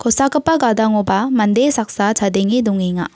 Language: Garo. kosakgipa gadangoba mande saksa chadenge dongenga.